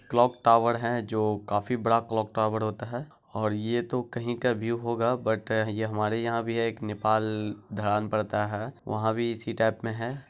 Clock tower है जो काफी बड़ा क्लॉक टावर होता है । और ये तो कहीं का भी होगा बट ये हमारे यहां भी है एक नेपाल धरान पड़ता है वहां भी इसी टाईप में है।